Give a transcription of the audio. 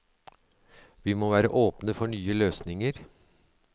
Vi må være åpne for nye løsninger.